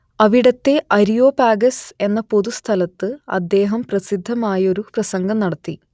അവിടത്തെ അരിയോപാഗസ് എന്ന പൊതുസ്ഥലത്ത് അദ്ദേഹം പ്രസിദ്ധമായൊരു പ്രസംഗം നടത്തി